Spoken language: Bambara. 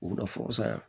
U bɛ na